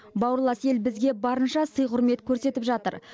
бауырлас ел бізге барынша сый құрмет көрсетіп жатыр